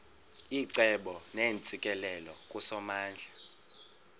icebo neentsikelelo kusomandla